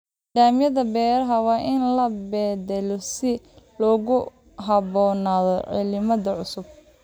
Nidaamyada beeraha waa in la beddelaa si loogu habboonaado cimilada cusub.